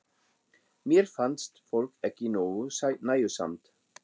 Mér finnst fólk ekki nógu nægjusamt.